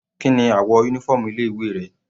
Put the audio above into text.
Kíni àwọ̀ uniform ilé ìwé rẹ̀?